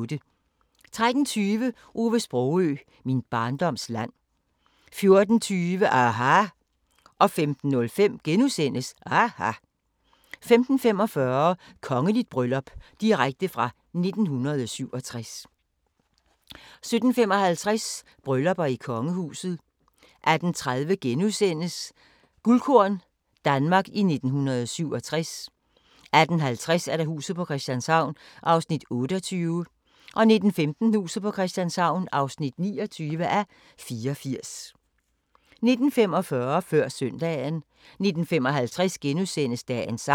13:20: Ove Sprogøe – Min barndoms land 14:20: aHA! 15:05: aHA! * 15:45: Kongeligt bryllup – direkte fra 1967 17:55: Bryllupper i kongehuset 18:30: Guldkorn – Danmark i 1967 * 18:50: Huset på Christianshavn (28:84) 19:15: Huset på Christianshavn (29:84) 19:45: Før søndagen 19:55: Dagens sang *